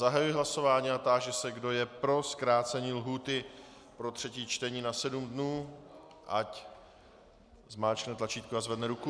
Zahajuji hlasování a táži se, kdo je pro zkrácení lhůty pro třetí čtení na sedm dnů, ať zmáčkne tlačítko a zvedne ruku.